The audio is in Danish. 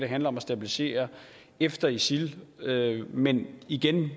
handler om at stabilisere efter isil men igen